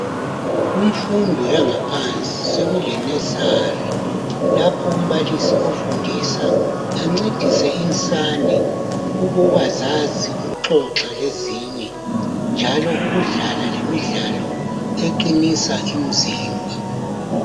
Kumfundo yangaphansi sokule nursery lapho umbalisi ofundisa ancedise insane ukuba zazi ukuxoxa lezinye njalo ukudlala lemidlalo eqinisa umzimba.